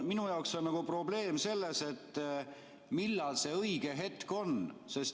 Minu jaoks on probleem selles, et millal see õige hetk on.